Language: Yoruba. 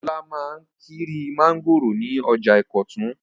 Olá máa ń kiri mángòrò ní ọjà Ìkọ̀tún.